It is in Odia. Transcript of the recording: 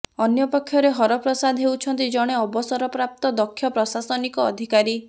ଅନ୍ୟପକ୍ଷରେ ହରପ୍ରସାଦ ହେଉଛନ୍ତି ଜଣେ ଅବସରପାପ୍ତ ଦକ୍ଷ ପ୍ରଶାସନିକ ଅଧିକାରୀ